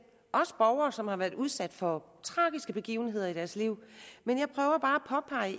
også borgere som har været udsat for tragiske begivenheder i deres liv men jeg prøver bare